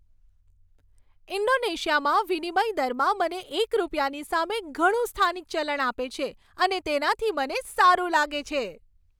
ઇન્ડોનેશિયામાં વિનિમય દરમાં મને એક રૂપિયાની સામે ઘણું સ્થાનિક ચલણ આપે છે અને તેનાથી મને સારું લાગે છે.